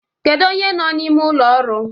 Kedu onye nọ n'ime ụlọ ọrụ?